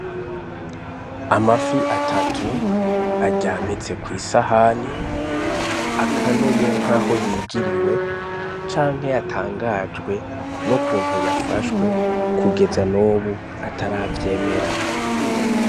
Amafi atatu aryamitse kw'isahani, akanuye nkaho yijiriwe canke yatangajwe n'ukuntu yafashwe kugeza nubu ataravyemera.